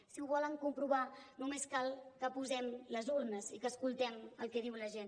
si ho volen comprovar només cal que posem les urnes i que escoltem el que diu la gent